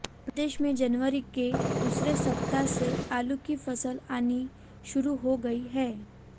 प्रदेश में जनवरी के दूसरे सप्ताह से आलू की फसल आनी शुरू हो गयी है